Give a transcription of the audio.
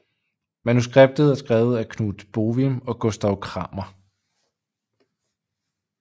Manuskriptet er skrevet af Knut Bohwim og Gustav Kramer